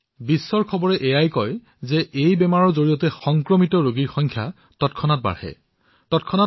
বিশ্বৰ বিভিন্ন প্ৰান্তত ঘটা ঘটনাসমূহৰ পৰা দেখা গৈছে যে এই ৰোগৰ দ্বাৰা সংক্ৰমিত হোৱাৰ ৰোগীৰ সংখ্যা হঠাতে বৃদ্ধি পাইছে